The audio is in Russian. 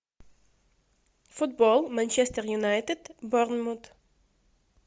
футбол манчестер юнайтед борнмут